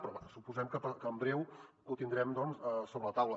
però bé suposem que en breu ho tindrem doncs sobre la taula